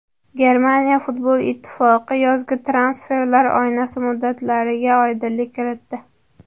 Germaniya futbol ittifoqi yozgi transferlar oynasi muddatlariga oydinlik kiritdi .